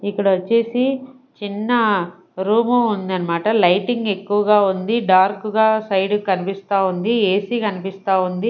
ఇక్కడ వచ్చేసి చిన్న రూమ్ ఉందన్నమాట లైటింగ్ ఎక్కువగా ఉంది డార్క్ గా సైడ్ కనిపిస్తా ఉంది ఏ_సి కనిపిస్తా ఉంది.